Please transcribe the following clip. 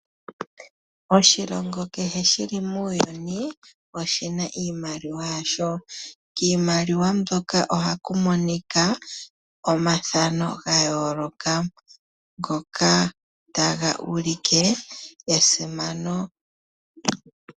Oshilongo kehe shili muuyuni oshina oshimaliwa shasho kiimaliwa mbyoka ohaku monika omathano gayooloka ngoka taga ulike esimano.